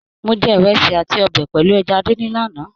Mó jẹ ìrẹsì àti ọbẹ pẹlú ẹja díndín l'ana.